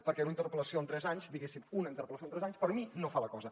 perquè una interpel·lació en tres anys diguéssim una interpel·lació en tres anys per mi no fa la cosa